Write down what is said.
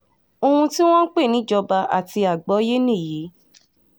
ohun tí wọ́n ń pè ní ìjọba àti àgbọ́yé nìyí